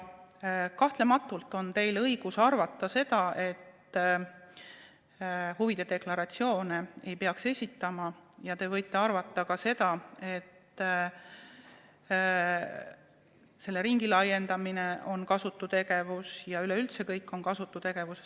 Kahtlemata on teil õigus arvata, et huvide deklaratsioone ei peaks esitama, ja te võite arvata ka seda, et selle ringi laiendamine on kasutu tegevus ja et üleüldse kõik on kasutu tegevus.